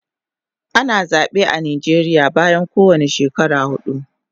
Ana zabe a Nijeria bayan kowane shekara hudu